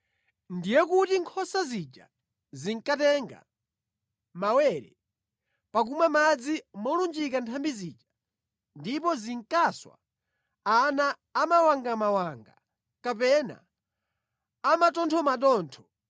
Ndiye kuti nkhosa zija zinkatenga mawere pakumwa madzi molunjika nthambi zija, ndipo zinkaswa ana a mawangamawanga kapena a mathothomathotho.